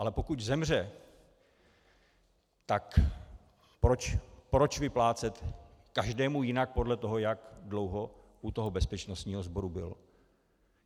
Ale pokud zemře, tak proč vyplácet každému jinak podle toho, jak dlouho u toho bezpečnostního sboru byl?